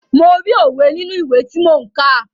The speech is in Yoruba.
Mo rí òwe nínú ìwé tí mò ń kà.